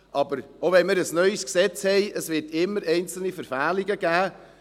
Aber auch wenn wir ein neues Gesetz haben, wird es immer einzelne Verfehlungen geben.